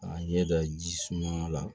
K'a ɲɛ da ji suma la